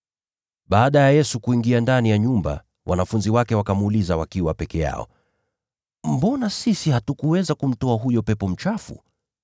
Baada ya Yesu kuingia ndani ya nyumba, wanafunzi wake wakamuuliza wakiwa peke yao, “Mbona sisi hatukuweza kumtoa huyo pepo mchafu?”